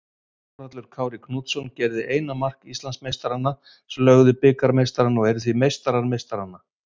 Þórhallur Kári Knútsson gerði eina mark Íslandsmeistaranna sem lögðu bikarmeistarana og eru því meistarar meistaranna.